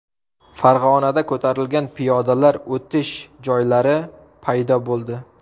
Farg‘onada ko‘tarilgan piyodalar o‘tish joylari paydo bo‘ldi.